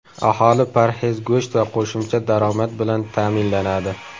Aholi parhez go‘sht va qo‘shimcha daromad bilan ta’minlanadi.